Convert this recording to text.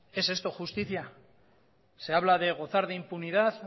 es esto justicia se habla de gozar de impunidad